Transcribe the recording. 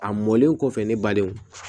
A mɔlen kɔfɛ ne balenw